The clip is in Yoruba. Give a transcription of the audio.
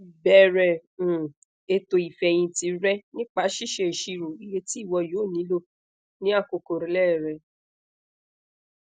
bẹrẹ um eto ifẹhinti rẹ nipa ṣiṣe iṣiro iye ti iwọ yoo nilo ni akoko rle rẹ